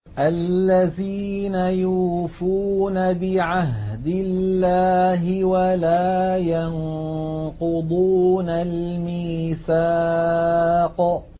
الَّذِينَ يُوفُونَ بِعَهْدِ اللَّهِ وَلَا يَنقُضُونَ الْمِيثَاقَ